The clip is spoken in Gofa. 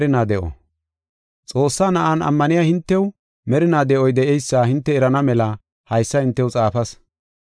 Xoossaa Na7an ammaniya hintew merinaa de7oy de7eysa hinte erana mela haysa hintew xaafas.